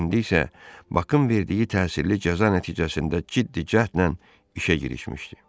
İndi isə Bakın verdiyi təsirli cəza nəticəsində ciddi cəhdlə işə girişmişdi.